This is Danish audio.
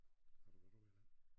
Har du været ude i den?